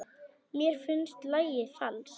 Mér finnst lagið falskt.